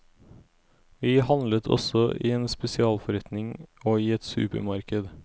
Vi handlet også i en spesialforretning og i et supermarked.